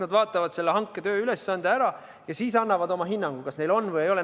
Nad vaatavad hankega seotud tööülesande ära ja siis annavad oma hinnangu, kas neil on huvide konflikt või ei ole.